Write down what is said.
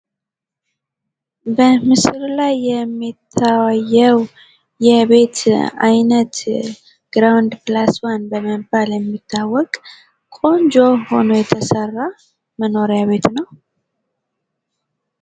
በምስሉ ላይ የሚታየው የቤት አይነት ግራውንድ ፕለስ ዋን በመባል የሚታወቅ ቆንጆ ሁኖ የተሰራ መኖሪያ ቤት ነው።